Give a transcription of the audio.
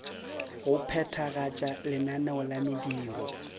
go phethagatša lenaneo la mediro